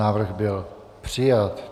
Návrh byl přijat.